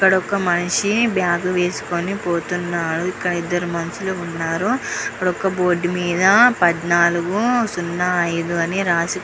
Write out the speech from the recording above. ఇక్కడ ఒక మనిషి బ్యాగ్ వేసుకొనిపోతున్నా. ఇక్కడ ఇద్దరు మనుషులు ఉన్నారు. అక్కడ బోర్డు మీద పదనలుగు సున్నా ఐదు అని రాసి --